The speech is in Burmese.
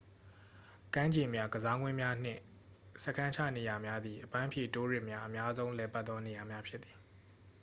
ကမ်းခြေများ ကစားကွင်းများနှင့် စခန်းချနေရာများသည် အပန်းဖြေတိုးရစ်များ အများဆုံးလည်ပတ်သော နေရာများဖြစ်သည်